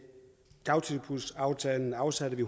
dagtilbudsaftalen afsatte vi